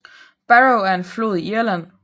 Barrow er en flod i Irland